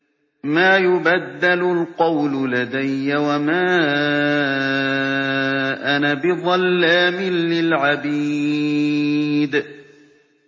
مَا يُبَدَّلُ الْقَوْلُ لَدَيَّ وَمَا أَنَا بِظَلَّامٍ لِّلْعَبِيدِ